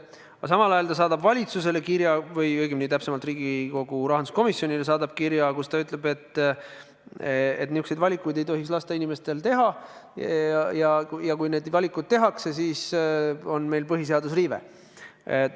Aga samal ajal ta saadab valitsusele või õigemini Riigikogu rahanduskomisjonile kirja, kus ta ütleb, et niisuguseid valikuid ei tohiks lasta inimestel teha ja kui need valikud tehakse, siis on meil põhiseaduse riive.